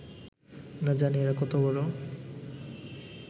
না জানি এঁরা কত বড়